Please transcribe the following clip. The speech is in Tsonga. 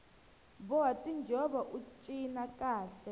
boha tinjhovo ut cina kahle